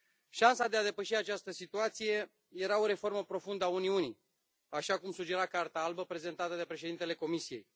Șansa de a depăși această situație era o reformă profundă a Uniunii, așa cum sugera Carta albă prezentată de președintele Comisiei.